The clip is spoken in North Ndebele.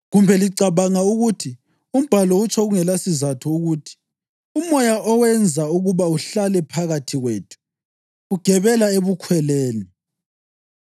Kumbe licabanga ukuthi umbhalo utsho kungelasizatho ukuthi umoya awenza ukuba uhlale phakathi kwethu ugebela ebukhweleni?